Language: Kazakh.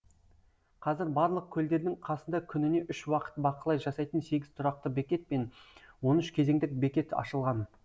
қазір барлық көлдердің қасында күніне үш уақыт бақылау жасайтын сегіз тұрақты бекет пен он үш кезеңдік бекет ашылған